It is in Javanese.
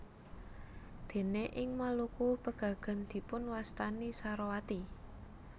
Déné ing Maluku pegagan dipunwastani sarowati